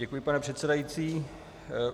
Děkuji, pane předsedající.